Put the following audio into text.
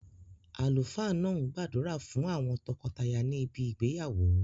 Àlùfáà náà n gbàdúrà fún àwon tokotaya ni ibi ìgbéyàwó